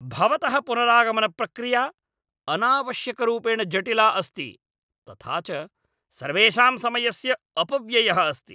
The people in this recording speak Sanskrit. भवतः पुनरागमनप्रक्रिया अनावश्यकरूपेण जटिला अस्ति तथा च सर्वेषां समयस्य अपव्ययः अस्ति।